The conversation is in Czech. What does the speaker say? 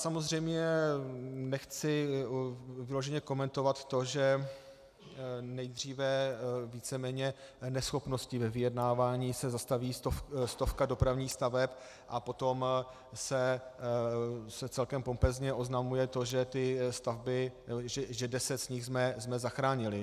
Samozřejmě nechci vyloženě komentovat to, že nejdříve víceméně neschopností ve vyjednávání se zastaví stovka dopravních staveb a potom se celkem pompézně oznamuje to, že ty stavby, že deset z nich jsme zachránili.